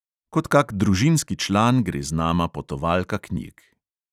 Kot kak družinski član gre z nama potovalka knjig.